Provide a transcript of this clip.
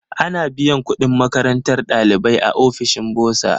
Ana biyan kudin makarantar ɗalibai a ofishin bursar.